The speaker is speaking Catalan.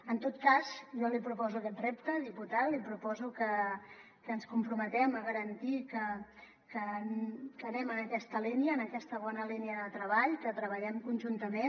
en tot cas jo li proposo aquest repte diputat li proposo que ens comprometem a garantir que anem en aquesta línia en aquesta bona línia de treball que treballem conjuntament